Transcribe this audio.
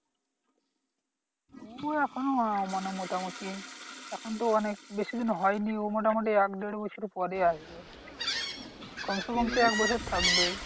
ও এখনো আহ মানে মোটামুটি এখন তো অনেক বেশিদিন হয়নি ও মোটামুটি এক দেড় বছর পরে আসবে কমসেকম তো এক বছর থাকবেই।